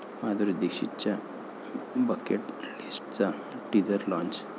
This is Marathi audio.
माधुरी दीक्षितच्या 'बकेट लिस्ट'चा टीझर लाँच